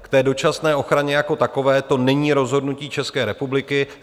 K té dočasné ochraně jako takové, to není rozhodnutí České republiky.